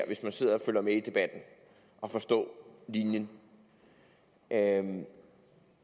hvis man sidder og følger med i debatten at forstå linjen at